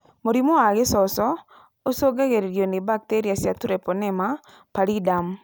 Mũrimũ wa gĩcoco ũcungagĩrĩrũo nĩ bakteria cia Treponema pallidum